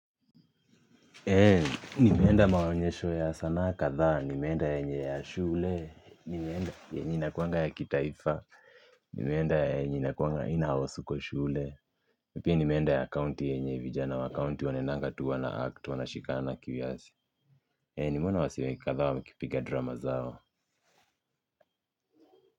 Nimeenda maonyesho ya sanaa kadhaa nimeenda yenye ya shule nimeenda yenye inakuwanga ya kitaifa nimeenda yenye inakuwanga inahusuku kwa shule pia nimeenda ya county yenye vijana wa county wanaendanga tu wana act wanashikana kiasi nimeona wasee kadhaa wakipiga drama zao.